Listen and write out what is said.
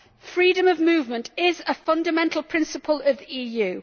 Freedom of movement is a fundamental principle of the EU.